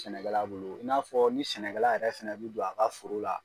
Sɛnɛkɛla bolo i n'a fɔɔ ni sɛnɛkɛla yɛrɛ fɛnɛ bi don a ka foro la